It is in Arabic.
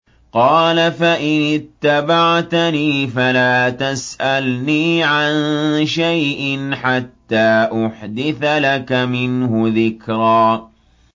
قَالَ فَإِنِ اتَّبَعْتَنِي فَلَا تَسْأَلْنِي عَن شَيْءٍ حَتَّىٰ أُحْدِثَ لَكَ مِنْهُ ذِكْرًا